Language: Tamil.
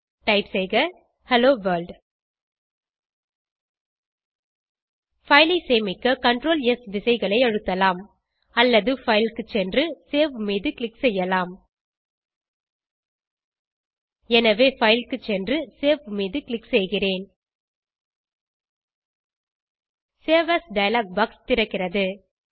டைப் செய்க ஹெல்லோ வர்ல்ட் பைல் ஐ சேமிக்க CrtlS விசைகளை அழுத்தலாம் அல்லது பைல் க்கு சென்று சேவ் மீது க்ளிக் செய்யலாம் எனவே பைல் க்கு சென்று சேவ் மீது க்ளிக் செய்கிறேன் சேவ் ஏஎஸ் டயலாக் பாக்ஸ் திறக்கிறது